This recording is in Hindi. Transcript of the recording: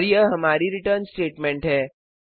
और यह हमारी रिटर्न स्टेटमेंट है